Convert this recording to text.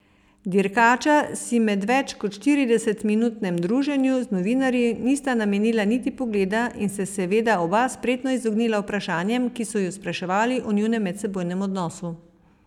Dirkača si med več kot štirideset minutnem druženju z novinarji nista namenila niti pogleda in se seveda oba spretno izognila vprašanjem, ki so spraševali o njunem medsebojnem odnosu.